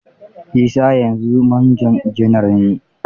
Isa yanzu manjo janar ne.